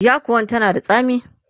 yakuwan tana da tsami